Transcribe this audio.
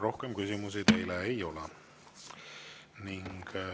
Rohkem küsimusi teile ei ole.